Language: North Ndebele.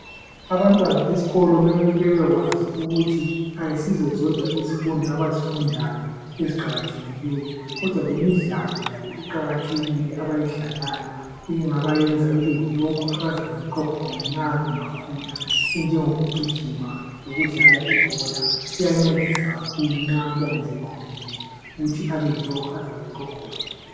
Abantwana esikolo mele bebekwazi ukuthi ayisizo zodwa izifundo abazifundayo eziqakathekileyo, kodwa lemidlalo layo iqakathekile abayidlalayo engabayenza bebeyilokhu abazabayikho khona nxa bangakhula enjengoku gijima, lokudlala ibhola kuyancedisa kakhulu nxa umntwana sekhulile ukuthi abeyilokhu azaba yikho khona.